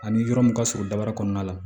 Ani yɔrɔ mun ka surun daba kɔnɔna la